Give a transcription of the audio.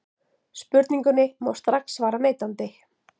Spurningunni má strax svara neitandi.